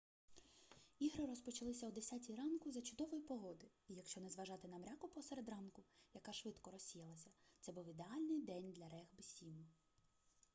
ігри розпочалися о 10 ранку за чудової погоди і якщо не зважати на мряку посеред ранку яка швидко розсіялася це був ідеальний день для регбі-7